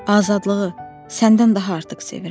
Azadlığı səndən daha artıq sevirəm.